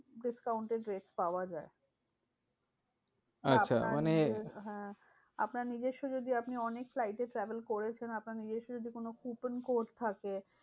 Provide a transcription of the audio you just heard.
Discount এ rate পাওয়া যায়। আচ্ছা মানে আপনার নিজের হ্যাঁ আপনার নিজস্য যদি আপনি অনেক flight এ travel করেছেন। আপনার নিজস্য যদি কোনো coupon code থাকে